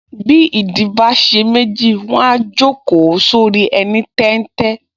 Bí ìdí bá ṣe méjì, wọ́n á jókòó sórí ẹní téńté